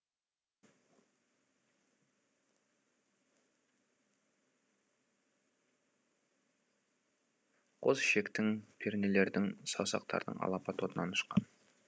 қос ішектің пернелердің саусақтардың алапат отынан ұшқан